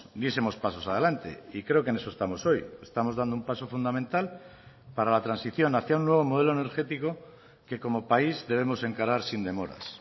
diesemos pasos adelante y creo que en eso estamos hoy estamos dando un paso fundamental para la transición hacia un nuevo modelo energético que como país debemos encarar sin demoras